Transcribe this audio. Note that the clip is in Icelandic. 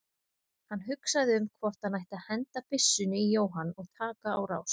Hann hugsaði um hvort hann ætti að henda byssunni í Jóhann og taka á rás.